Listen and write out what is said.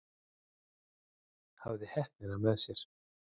Hafði heppnina með mér